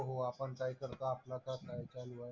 हो आपण काय करतो आपलं आता काय चाललंय.